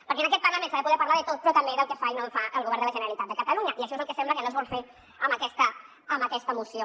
perquè en aquest parlament s’ha de poder parlar de tot però també del que fa i no fa el govern de la generalitat de catalunya i això sembla que és el que no es vol fer amb aquesta moció